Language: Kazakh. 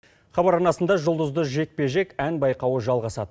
хабар арнасында жұлдызды жекпе жек ән байқауы жалғасады